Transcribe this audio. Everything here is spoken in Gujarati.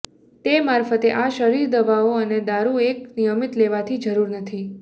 તે મારફતે આ શરીર દવાઓ અને દારૂ એક નિયમિત લેવાથી જરૂર નથી